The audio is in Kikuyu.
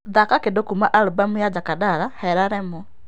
thaaka kĩndu kuuma album ya jakadala hera remo